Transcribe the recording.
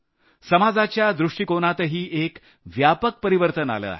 समाजाच्या दृष्टिकोनातही एक व्यापक परिवर्तन आलं आहे